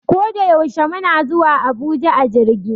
Koda yaushe muna zuwa Abuja a jirgi